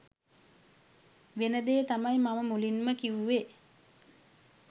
වෙනදේ තමයි මම මුලින් කිවුවෙ.